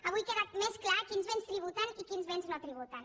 avui queda més clar quins béns tributen i quins béns no tributen